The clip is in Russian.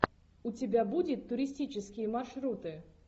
у тебя будет туристические маршруты